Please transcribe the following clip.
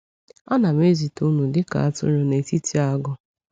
Anam ezite unu dị ka atụrụ n’etiti agụ.